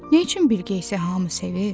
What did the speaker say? Neyçün Bilqeyisi hamı sevir?